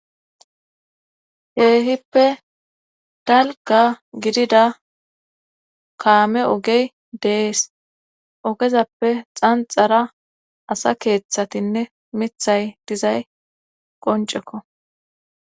Keehippe dalga gidida kaame ogey dees ogezappe xanxara asa keeththatinne mithay dizay qoncekko.